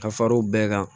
Ka fara o bɛɛ kan